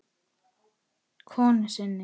konu sinni.